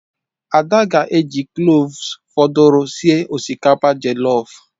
Ada ga-eji kloves fọdụrụ sie osikapa jọlọf.